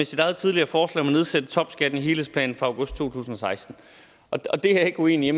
sit eget tidligere forslag om at nedsætte topskatten i helhedsplanen fra august 2016 det er ikke uenig i